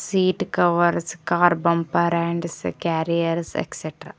seat covers car bumper and carriers extra--